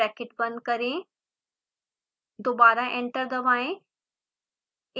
bracket बंद करें दोबारा एंटर दबाएं